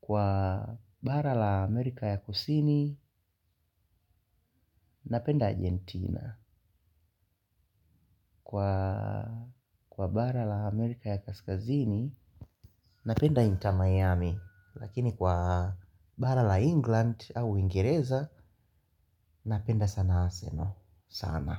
kwa bara la amerika ya kusini napenda Argentina. Kwa bara la Amerika ya Kaskazini, napenda Inter Miami. Lakini kwa bara la England au uingereza, napenda sana arsenal, sana.